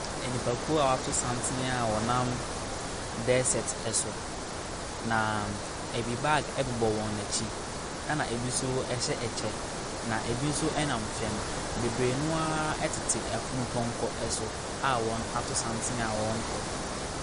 Nipakuo a wɔato santene a wɔna dessert so. Na ɛbi bag bobɔ wɔn akyi, ɛna ɛbi nso hyɛ akyɛ. Na ɛbi nso nam fam. Bebree no ara tete afunupɔnkɔ so a wɔato santene a wɔrekɔ.